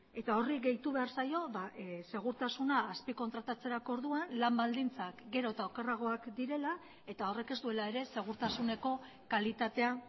eta horri gehitu behar zaio segurtasuna azpikontratatzerako orduan lan baldintzak gero eta okerragoak direla eta horrek ez duela ere segurtasuneko kalitatea